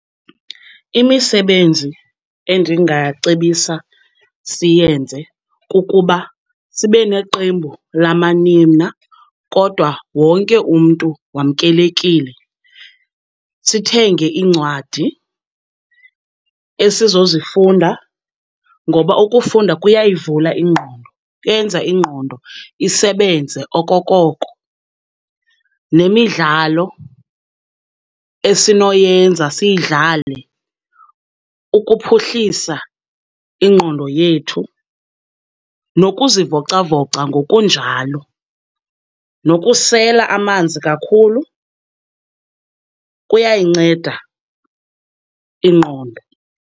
Imisebenzi endingacebisa siyenze kukuba sibe neqembu lamanina kodwa wonke umntu wamkelekile. Sithenge iincwadi esizozifunda ngoba ukufunda kuyayivula ingqondo, kuyenza ingqondo isebenze okokoko. Nemidlalo esinoyenza, siyidlale ukuphuhlisa ingqondo yethu. Nokuzivocavoca ngokunjalo, nokusela amanzi kakhulu kuyayinceda ingqondo.